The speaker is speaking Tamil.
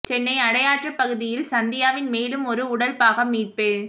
சென்னை அடையாற்றுப் பகுதியில் சந்தியாவின் மேலும் ஒரு உடல் பாகம் மீட்பு